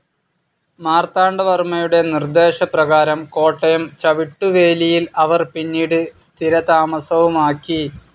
മാർത്താണ്ഡവർമ്മയുടെ നിർദ്ദേശപ്രകാരം കോട്ടയം ചവിട്ടുവേലിയിൽ അവർ പിന്നീട് സ്ഥിരതാമസവുമാക്കി.